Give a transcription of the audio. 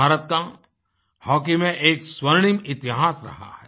भारत का हॉकी में एक स्वर्णिम इतिहास रहा है